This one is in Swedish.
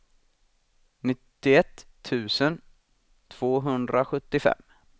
nittioett tusen tvåhundrasjuttiofem